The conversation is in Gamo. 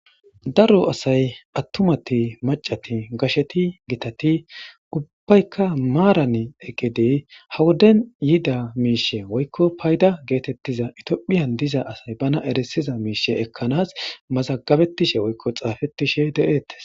daro asay attumati macati gasheti gitati ubbaykka maaran eggedey hawodden yida miishe woykko payda geetettiza itiophiyan diza asay bana erisiza miishe ekkanaas mazagabettishe woykko xaafettishe deettes